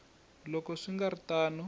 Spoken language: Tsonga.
loko swi nga ri tano